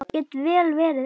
Get vel verið ein.